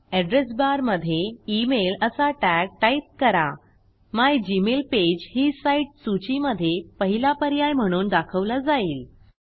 address बारमधे email असा tag type करा मिगमेलपेज ही साईट सूचीमधे पहिला पर्याय म्हणून दाखवला जाईल